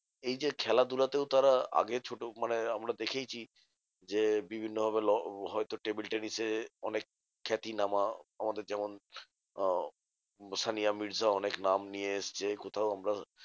এই যে খেলাধুলাতেও তারা আগে ছোট মানে আমরা দেখেইছি যে, বিভিন্ন ভাবে হয়তো table tennis এ অনেক খ্যাতিনামা আমাদের যেমন আহ সানিয়া মির্জা অনেক নাম নিয়ে এসেছে। কোথাও আমরা